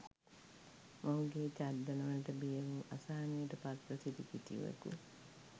මොහුගේ තර්ජනවලට බියවූ අසහනයට පත්ව සිටි කිසිවකු